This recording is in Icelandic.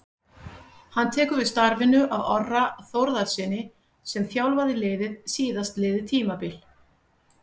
Hann tekur við starfinu af Orra Þórðarsyni sem þjálfaði liðið síðastliðið tímabil.